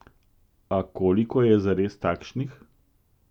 A koliko je zares takšnih?